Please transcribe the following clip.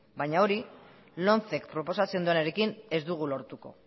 baina hori lomcek proposatzen duenarekin ez dugu lortuko